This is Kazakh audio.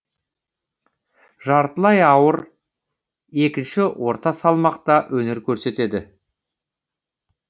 жартылай ауыр екінші орта салмақта өнер көрсетеді